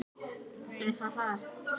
Gefðu þessu tíma, sagði Edda hvetjandi.